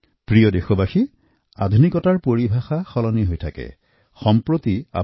মোৰ প্ৰিয় দেশবাসী আধুনিকতাৰ পৰিভাষা ক্ৰমান্বয়ে সলনি হৈ আহিছে